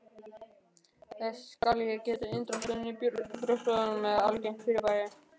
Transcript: Þess skal getið að inndráttur í brjóstvörtum er algengt fyrirbæri.